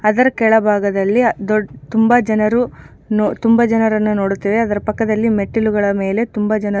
ಅದರ ಕೆಳ ಭಾಗದಲ್ಲಿ ದೊಡ್ ತುಂಬಾ ಜನರು ನೋ ತುಂಬಾ ಜನರನ್ನು ನೋಡುತ್ತೇವೆ ಅದರ ಪಕ್ಕದಲ್ಲಿ ಮೆಟ್ಟಿಲುಗಳ ಮೇಲೆ ತುಂಬಾ ಜನ--